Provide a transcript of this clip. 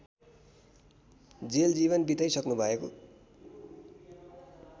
jail जीवन बिताइसक्नुभएको